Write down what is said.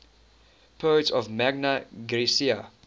poets of magna graecia